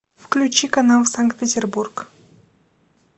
включи канал санкт петербург